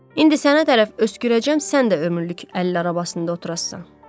İndi sənə tərəf öskürəcəyəm, sən də ömürlük əlil arabasında oturasan.